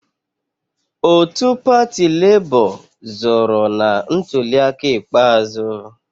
Otu pati Labour zọọrọ na ntuliaka ikpeazụ.